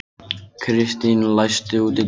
Kristíana, læstu útidyrunum.